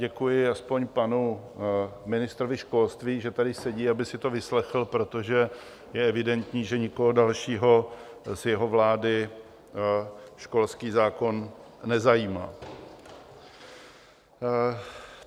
Děkuji aspoň panu ministrovi školství, že tady sedí, aby si to vyslechl, protože je evidentní, že nikoho dalšího z jeho vlády školský zákon nezajímá.